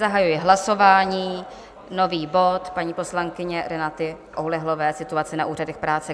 Zahajuji hlasování, nový bod, paní poslankyně Renaty Oulehlové Situace na úřadech práce.